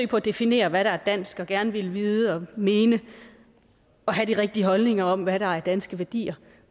på at definere hvad der er dansk og gerne at ville vide og mene og have de rigtige holdninger om hvad der er danske værdier